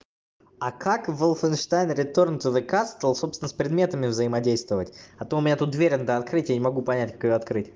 а как волфенштайн ретёрн ту зе кастл собственно с предметами взаимодействовать а то у меня тут дверь надо открыть а я не могу понять как надо открыть